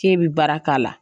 Ke bi baara k'a la.